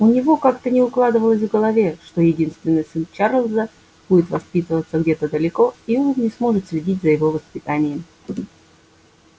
у него как-то не укладывалось в голове что единственный сын чарлза будет воспитываться где-то далеко и он не сможет следить за его воспитанием